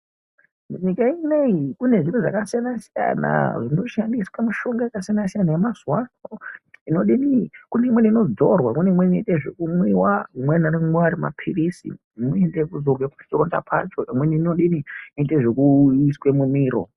Nyika inei kune zviro zvakasiyana siyana zvinoshandiswa mishonga yakasiyana siyana yemazuwa ano inodini, kune imweni inodzorwa, imweni inoitwe zvekumwiwa. Imweni anomwiwa ari maphirizi. Imweni inoitwe zvekuzorwa pachironda pacho. Imweni inodini, inoitwe zvekuiswe mumiro.